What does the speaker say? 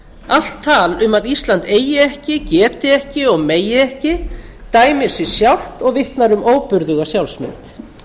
allt tal um að ísland eigi ekki geti ekki og megi ekki dæmir sig sjálft og vitnar um óburðuga sjálfsmynd